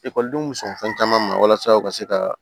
Ekɔlidenw bɛ sɔn fɛn caman ma walasa u ka se ka